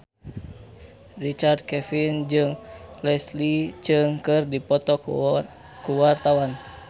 Richard Kevin jeung Leslie Cheung keur dipoto ku wartawan